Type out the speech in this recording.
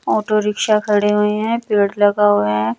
Auto rickshaw खड़े हुए हैं पेड़ लगा हुआ है।